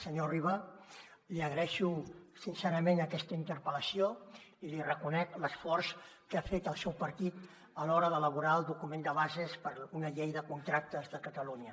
senyor riba li agraeixo sincerament aquesta interpel·lació i li reconec l’esforç que ha fet el seu partit a l’hora d’elaborar el document de bases per a una llei de contractes de catalunya